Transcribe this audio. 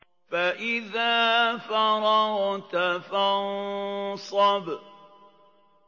فَإِذَا فَرَغْتَ فَانصَبْ